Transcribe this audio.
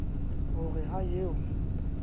ho re ha e a